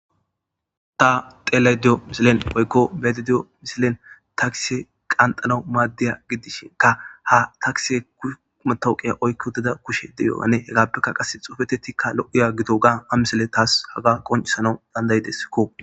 ta telay diyo misilen oykko bedidiyo misilen takise qanxana maaddiya giddishinka ha takise kuumatowqey oykko deda kushe deyoyane hegaappekka qasse xufetettikka lo7iya gito gaa a misile taas haga qoncisana dandayideskko